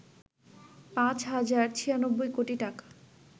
পাঁচ হাজার ৯৬ কোটি টাকা